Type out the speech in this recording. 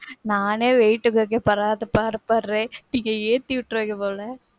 நானே weight குறைக்கிறதுக்கு படாத பாடு படுறேன். நீங்க ஏத்தி விட்ருவீங்க போல.